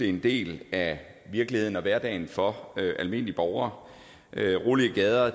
en del af virkeligheden og hverdagen for almindelige borgere rolige gader